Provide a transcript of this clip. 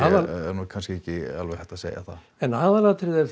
nú kannski ekki alveg hægt að segja það en aðalatriðið er